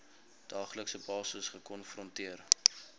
daaglikse basis gekonfronteer